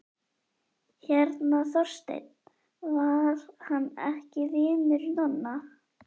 Hérna Þorsteinn, var hann ekki vinur Nonna?